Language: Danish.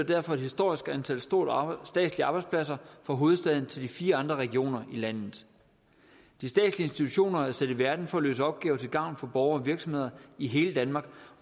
derfor et historisk stort antal statslige arbejdspladser fra hovedstaden til de fire andre regioner i landet de statslige institutioner er sat i verden for at løse opgaver til gavn for borgere og virksomheder i hele danmark